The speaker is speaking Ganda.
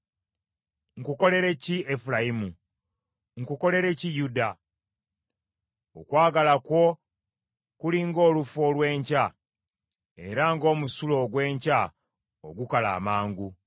Nkukolere ki, Efulayimu? Nkukolere ki, Yuda? Okwagala kwo kuli ng’olufu olw’enkya, era ng’omusulo ogw’enkya ogukala amangu.